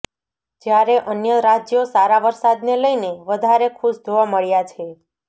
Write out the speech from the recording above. જયારે અન્ય રાજ્યો સારા વરસાદને લઈને વધારે ખુશ જોવા મળ્યા છે